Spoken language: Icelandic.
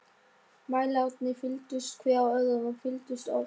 Mælarnir fylltust, hver af öðrum- og fylltust oft.